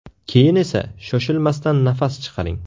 Keyin esa shoshilmasdan nafas chiqaring.